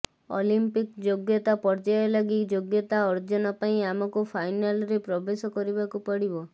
Olympic ଯୋଗ୍ୟତା ପର୍ଯ୍ୟାୟ ଲାଗି ଯୋଗ୍ୟତା ଅର୍ଜନ ପାଇଁ ଆମକୁ ଫାଇନାଲରେ ପ୍ରବେଶ କରିବାକୁ ପଡ଼ିବ